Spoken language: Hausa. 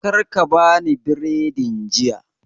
Karka ka bani biredin jiya